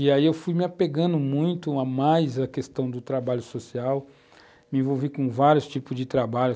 E aí eu fui me apegando muito a mais a questão do trabalho social, me envolvi com vários tipos de trabalho.